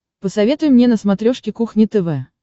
посоветуй мне на смотрешке кухня тв